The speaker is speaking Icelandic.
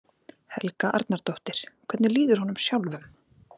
Helga Arnardóttir: Hvernig líður honum sjálfum?